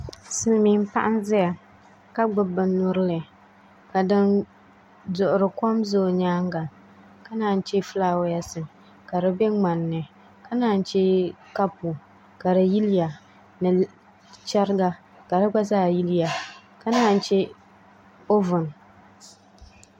Silmiin paɣa n ʒɛya ka gbubi bin nyurili ka din duɣuri kom ʒɛ o nyaanga ka naan chɛ fulaawaasi ka di bɛ ŋmanni ka naan chɛ kapu ka di yiliya ni chɛriga ka di gba zaa yiliya ka naan chɛ ovin